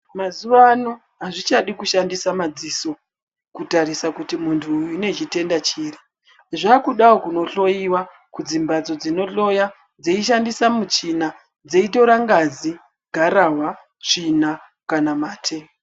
Mazuwa Ano azvichadi kushandisa madziso, kutarisa kuti muntuyu une chitenda chiri. Zvaakudawo kunohloiwa kudzimphatso dzinohloya dzeishandisa muchina dzeitora ngazi, gararwa, tsvina, kana mate.